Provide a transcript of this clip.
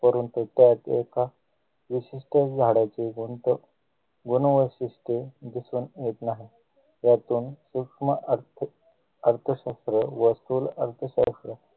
करून ते त्याच एका विशिष्ट झाडांचे गुंत गुण वैशिष्ट्ये दिसून येत नाही यातून सूक्ष्म अर्थ अर्थशास्त्र व स्थूल अर्थशास्त्र